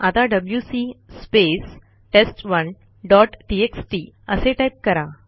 आता WC space टेस्ट1 dot TXT असे टाईप करा